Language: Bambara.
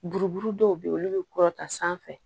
Buruburu dɔw bɛ ye olu bɛ kɔrɔta sanfɛ